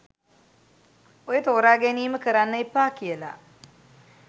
ඔය තෝරාගැනීම කරන්න එපා කියලා